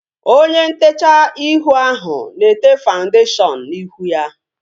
Onye ntechaa ihu ahu na-ete fawundeshion n'ihu ya